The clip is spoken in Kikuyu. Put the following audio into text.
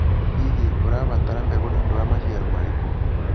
Hihi, ũrabatara mbegũ nĩ ũndũ wa maciaro marĩkũ?